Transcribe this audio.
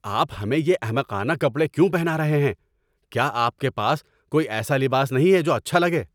آپ ہمیں یہ احمقانہ کپڑے کیوں پہنا رہے ہیں؟ کیا آپ کے پاس کوئی ایسا لباس نہیں ہے جو اچھا لگے؟